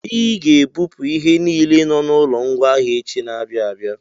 I ga-ebupụ ihe niile nọ n'ụlọ ngwaahịa echi na-abịa abịa!